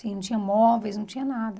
Assim, não tinha móveis, não tinha nada.